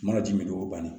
Mana jumɛn don o ban na